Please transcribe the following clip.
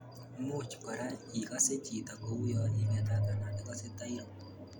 Much kora ikase chito ko uyo ii ngetat anan ikase tairuu.